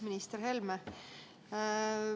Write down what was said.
Minister Helme!